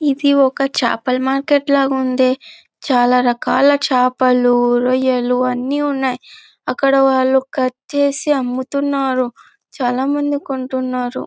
ఇది ఒక చాపల మార్కెట్ ల ఉంది. చాల రకాల చాపలు రోయలు అన్ని ఉన్నాయి. అక్కడ వాళ్ళు కట్ చేసి అమ్ముతునారు. చాల మంది కొంటున్నారు.